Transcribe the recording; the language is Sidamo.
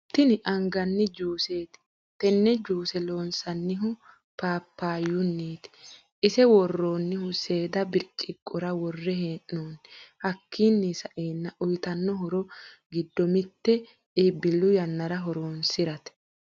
Tinni angani juuseti tenne juuse loonsanihu papayuniti ise woroonihu seeda biriciqora worre heenonni hakiino sa'eena uyiitano horro giddo mitte iibilu yanara horonisirate